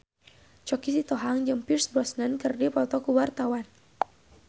Choky Sitohang jeung Pierce Brosnan keur dipoto ku wartawan